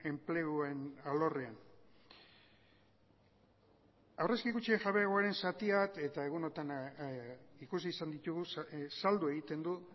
enpleguen alorrean aurrezki kutxen jabegoaren zati bat eta egunotan ikusi izan ditugu saldu egiten du